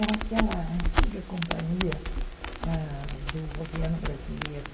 Era aquela antiga companhia ãh do governo brasileiro.